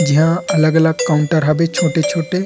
जिहा अलग- अलग काउंटर हबे छोटे- छोटे --